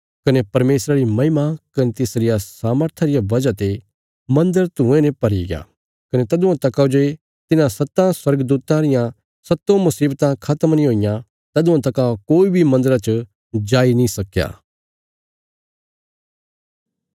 कने परमेशरा री महिमा कने तिसरिया सामर्था रिया वजह ते मन्दर धुयें ने भरीग्या कने तदुआं तका जे तिन्हां सत्तां स्वर्गदूतां रियां सत्तों मुशीवतां खत्म नीं हुईयां तदुआं तका कोई बी मन्दरा च जाई नीं सकया